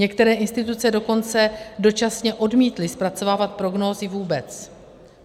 Některé instituce dokonce dočasně odmítly zpracovávat prognózy vůbec.